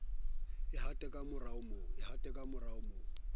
e hate ka maro bo